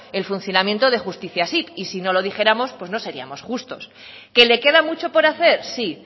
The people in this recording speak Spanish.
el funcionamiento de justiziasip y si no lo dijéramos pues no seríamos justos qué le queda mucho por hacer sí